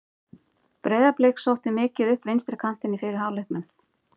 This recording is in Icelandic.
Breiðablik sótti mikið upp vinstri kantinn í fyrri hálfleiknum.